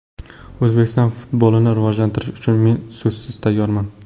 O‘zbekiston futbolini rivojlantirish uchun men so‘zsiz tayyorman.